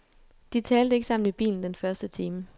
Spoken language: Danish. De talte ikke sammen i bilen den første time.